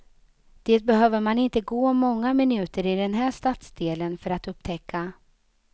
Det behöver man inte gå många minuter i den här stadsdelen för att upptäcka.